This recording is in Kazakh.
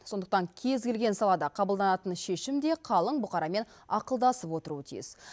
сондықтан кез келген салада қабылданатын шешім де қалың бұқарамен ақылдасып отыруы тиіс